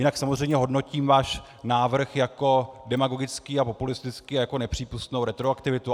Jinak samozřejmě hodnotím váš návrh jako demagogický a populistický a jako nepřípustnou retroaktivitu.